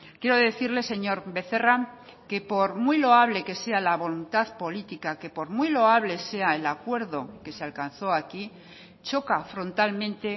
quiero decirle señor becerra que por muy loable que sea la voluntad política que por muy loable sea el acuerdo que se alcanzó aquí choca frontalmente